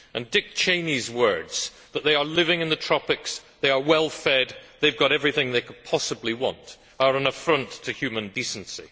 Dick Cheney's words that they are living in the tropics, that they are well fed, that they have got everything they could possibly want, are an affront to human decency.